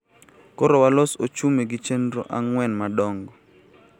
Koro walos ochumi gi chenor ang'wen madongo.